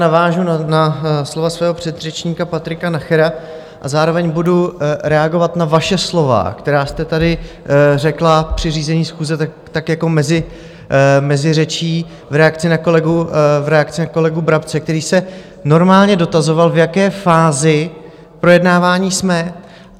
Navážu na slova svého předřečníka Patrika Nachera a zároveň budu reagovat na vaše slova, která jste tady řekla při řízení schůze tak jako mezi řečí, v reakci na kolegu Brabce, který se normálně dotazoval, v jaké fázi projednávání jsme.